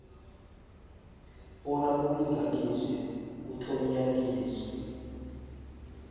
bona kulinganiswe kuthonyaniswe